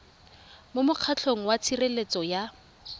ya mokgatlho wa tshireletso ya